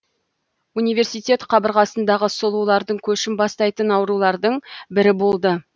университет қабырғасындағы сұлулардың көшін бастайтын арулардың бірі болды